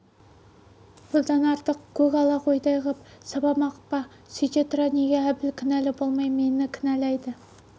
бұдан артық көк ала қойдай ғып сабамақ па сүйте тұра неге әбіл кінәлі болмай мені кінәлайды